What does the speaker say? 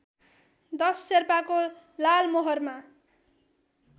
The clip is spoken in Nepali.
१० शेर्पाको लालमोहरमा